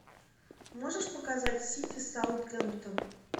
можешь показать сити саутгемптон